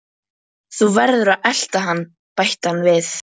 Þú verður að elta hann bætti hann við.